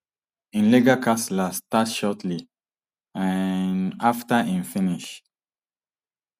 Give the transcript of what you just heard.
im legal kasla start shortly um afta im finish